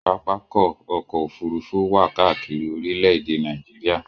Pápákọ̀ ọ̀kọ òfurufú wà káàkiri orílẹ̀-èdè Nàìjíríà